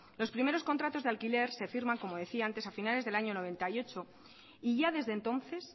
los primeros contratos de alquiler se firman como decía antes a finales del año mil novecientos noventa y ocho y ya desde entonces